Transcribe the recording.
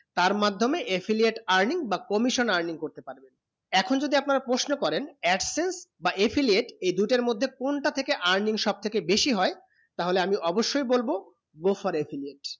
তার মাধ্যমে affiliate earning বা commission earning করতে পারবে এখন যদি আপনা প্রশ্ন করেন absence বা affiliate এই দুটো মধ্যে কোনটা থেকে earning সব থেকে বেশি হয়ে তা হলে আমি অবসয়ে বলবো go for affiliate